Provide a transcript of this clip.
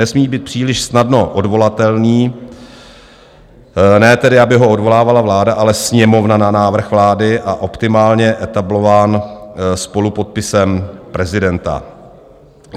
Nesmí být příliš snadno odvolatelný, ne tedy, aby ho odvolávala vláda, ale Sněmovna na návrh vlády, a optimálně etablován spolupodpisem prezidenta.